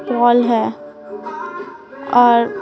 बल है और--